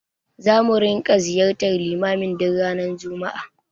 Zamu ringa ziyartar limamin duk ranar juma'a.